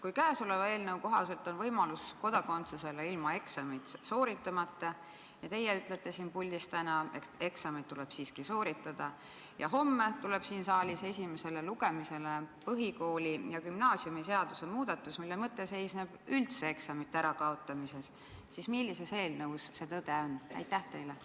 Kui käesoleva eelnõu kohaselt on kodakondsus võimalik saada ilma eksamit sooritamata ja teie ütlete täna siin puldis, et eksamid tuleb siiski sooritada, ja homme tuleb siin saalis esimesele lugemisele põhikooli- ja gümnaasiumiseaduse muudatus, mille mõte seisneb üldse eksamite kaotamises, siis millises eelnõus tõde on?